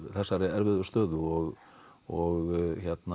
þessari erfiðu stöðu og og